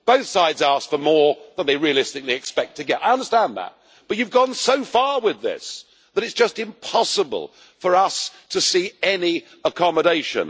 Both sides ask for more than they realistically expect to get. I understand that, but you have gone so far with this that it is just impossible for us to see any accommodation.